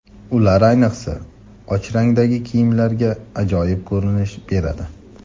Ular ayniqsa, och rangdagi kiyimlarga ajoyib ko‘rinish beradi.